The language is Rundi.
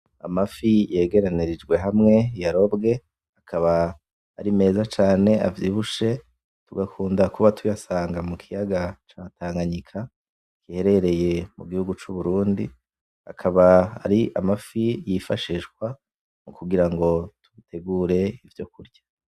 Amafi yegeranirijwe hamwe yarobwe, akaba ari meza cane avyibushe, tugakunda kuba tuyasanga mu kiyaga ca Tanganyika giherereye mu gihugu c'Uburundi, akaba ari amafi yifashishwa kugira ngo dutegure ivyo kurya.